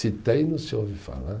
Se tem, não se ouve falar.